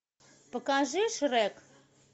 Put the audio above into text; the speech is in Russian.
покажи шрек